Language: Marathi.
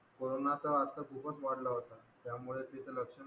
corona आता खूपच वाढला होता त्यामुळे तिचं लक्ष